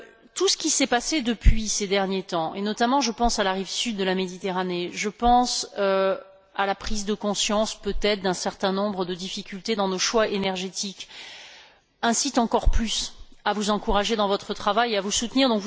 Tout ce qui s'est passé ces derniers temps et je pense notamment à la rive sud de la Méditerranée, je pense à la prise de conscience, peut être, d'un certain nombre de difficultés dans nos choix énergétiques incite encore plus à vous encourager dans votre travail et à vous soutenir.